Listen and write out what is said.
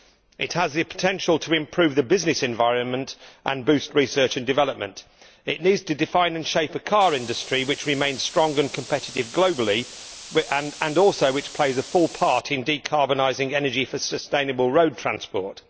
It has the potential to improve the business environment and boost research and development. It needs to define and shape a car industry which remains strong and competitive globally and which also plays a full part in decarbonising energy for sustainable road transport.